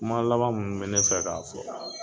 Kuma laban minnu bɛ ne fɛ k'a fɔ